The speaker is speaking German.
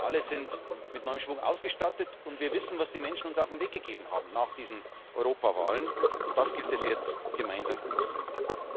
Wir alle sind mit neuem Schwung ausgestattet, und wir wissen, was die Menschen uns auf den Weg gegeben haben nach diesen Europawahlen, und das gilt es jetzt, gemeinsam umzusetzen.